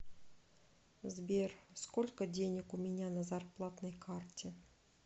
сбер сколько денег у меня на зарплатной карте